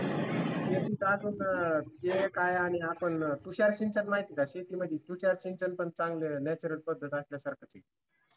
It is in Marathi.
तेही एक असून हे काय आहे आणि आपण तुषार सिंचन माहिती आहे का? तुषार सिंचन पण चांगलं natural पद्धत असल्यासारखं